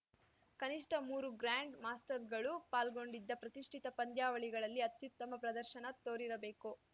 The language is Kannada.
ಕನಿಷ್ಠ ಮೂರು ಗ್ರ್ಯಾಂಡ್‌ ಮಾಸ್ಟರ್‌ಗಳು ಪಾಲ್ಗೊಂಡಿದ್ದ ಪ್ರತಿಷ್ಠಿತ ಪಂದ್ಯಾವಳಿಗಳಲ್ಲಿ ಅತ್ಯುತ್ತಮ ಪ್ರದರ್ಶನ ತೋರಿರಬೇಕು